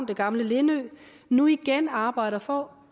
det gamle lindø nu igen arbejder for